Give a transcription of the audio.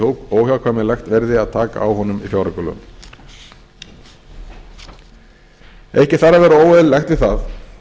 að óhjákvæmilegt verði að taka á honum í fjáraukalögum ekkert þarf að vera óeðlilegt við það